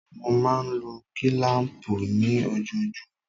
Mo máa ń lo kílám̀pù ni ojoojúmọ́.